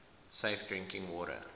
safe drinking water